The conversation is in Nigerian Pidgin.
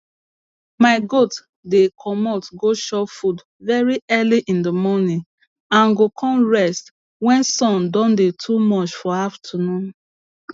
my goat dey comot go chop food very early in the morning and go con rest wen sun don dey too much for afternoon